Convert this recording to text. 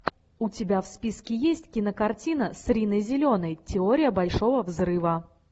у тебя в списке есть кинокартина с риной зеленой теория большого взрыва